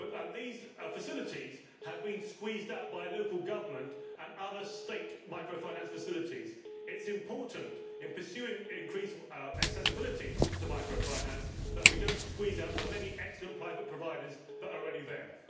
These facilities have been squeezed out by local government and other state microfinanced facilities. It is important, in pursuing increased accessibility to microfinance, that we do not squeeze out the many excellent private providers that are already there.